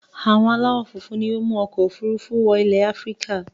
Àwọn aláwọ̀ funfun ni ó mú ọkọ̀-òfurufú wọ ilẹ̀ Áfíríkà.